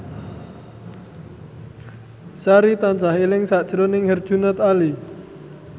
Sari tansah eling sakjroning Herjunot Ali